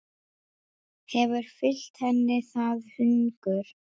Hefur fylgt henni það hungur.